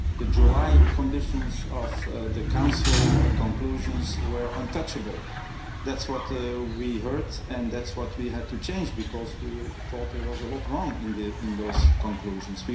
The July conditions of the Council conclusions were untouchable that's what we heard and that's what we had to change because we thought there was a lot wrong in those conclusions.